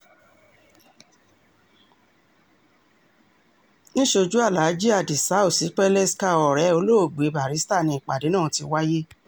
níṣojú aláàjì adisa osipeleska ọ̀rẹ́ olóògbé barrister ni ìpàdé náà ti wáyé